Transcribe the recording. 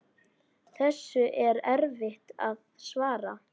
Þessu er erfitt að svara.